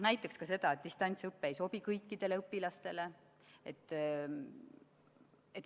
Näiteks seda, et distantsõpe ei sobi kõikidele õpilastele.